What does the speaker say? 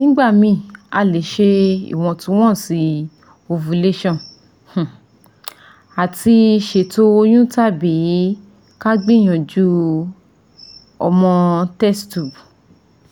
NIgbami a le ṣe iwontunwonsi ovulation um ati seto oyun tabi ka gbiyanju omo test tube